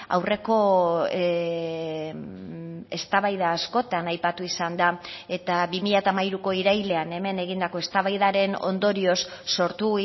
aurreko eztabaida askotan aipatu izan da eta bi mila hamairuko irailean hemen egindako eztabaidaren ondorioz sortu